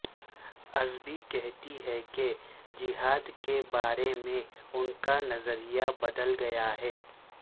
ازبی کہتی ہیں کہ جہاد کے بارے میں ان کا نظریہ بدل گیا ہے